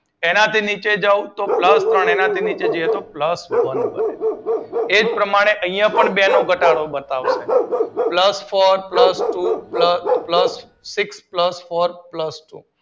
એનાથી નીચે જાવ તો પ્લસ ત્રણ, પ્લસ વન બને એવા પ્રમાણે અહિયાં પણ બે નો ઘટાડો બતાવશે, plus four, plus two, plus six, plus four, plus two